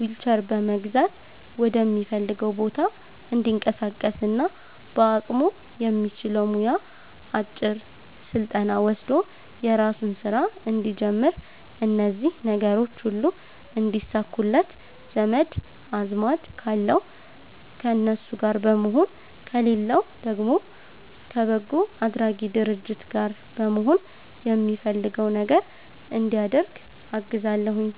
ዊልቸር በመግዛት ወደሚፈልገዉ ቦታ እንዲንቀሳቀስና በአቅሙ የሚችለዉ ሙያ አጭር ስልጠና ወስዶ የራሱን ስራ እንዲጀምር እነዚህ ነገሮች ሁሉ እንዲሳኩለት ዘመድ አዝማድ ካለዉ ከነሱ ጋር በመሆን ከሌለዉ ደግሞ ከበጎ አድራጊ ድርጅት ጋር በመሆን የሚፈልገዉ ነገር እንዲያደርግ አግዛለሁኝ